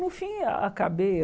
No fim, acabei.